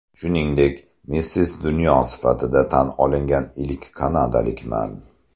Shuningdek, ‘Missis Dunyo‘ sifatida tan olingan ilk kanadalikman.